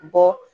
Bɔ